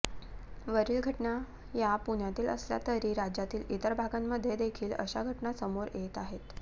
वरील घटना या पुण्यातील असल्या तरी राज्यातील इतर भागांमध्ये देखील अशा घटना समोर येत आहेत